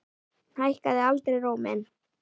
Hækkaði aldrei róminn.